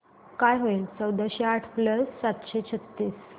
काय होईल चौदाशे आठ प्लस सातशे छ्त्तीस